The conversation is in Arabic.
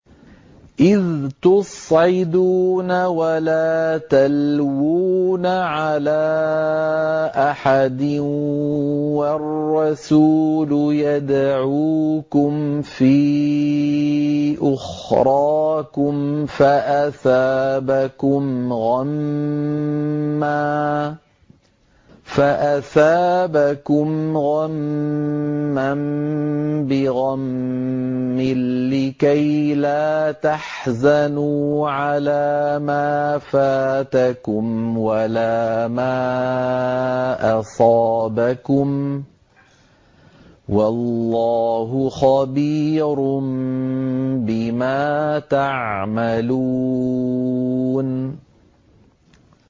۞ إِذْ تُصْعِدُونَ وَلَا تَلْوُونَ عَلَىٰ أَحَدٍ وَالرَّسُولُ يَدْعُوكُمْ فِي أُخْرَاكُمْ فَأَثَابَكُمْ غَمًّا بِغَمٍّ لِّكَيْلَا تَحْزَنُوا عَلَىٰ مَا فَاتَكُمْ وَلَا مَا أَصَابَكُمْ ۗ وَاللَّهُ خَبِيرٌ بِمَا تَعْمَلُونَ